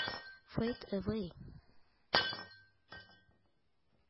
фэйд эвэй